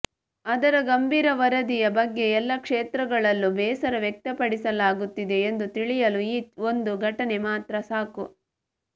ಅದರ ಗಂಭೀರ ವರದಿಯ ಬಗ್ಗೆ ಎಲ್ಲಾ ಕ್ಷೇತ್ರಗಳಲ್ಲೂ ಬೇಸರ ವ್ಯಕ್ತಪಡಿಲಾಗುತ್ತಿದೆ ಎಂದು ತಿಳಿಯಲು ಈ ಒಂದು ಘಟನೆ ಮಾತ್ರ ಸಾಕು